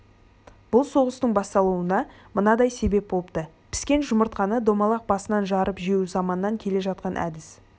бұл соғыстың басталуына мынадай себеп болыпты піскен жұмыртқаны домалақ басынан жарып жеу заманнан келе жатқан әдіс